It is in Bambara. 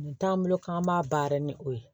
Nin t'an bolo k'an b'a baara ni o ye